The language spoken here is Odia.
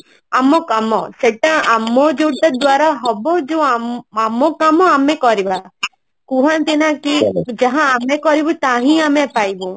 ଆମ କାମ ସେଟା ଆମ ଯୋଉଟା ଦ୍ଵାରା ହବଯୋଉ ଆମ ଆମ କାମ ଆମେ କରିବା କୁହନ୍ତି ନା କି ଯାହା ଆମେ କରିବୁ ତାହା ହିଁ ଆମେ ପାଇବୁ